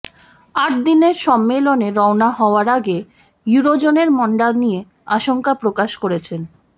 আটদিনের সম্মেলনে রওনা হওয়ার আগে ইউরোজোনের মন্দা নিয়ে আশঙ্কা প্রকাশ করেছেন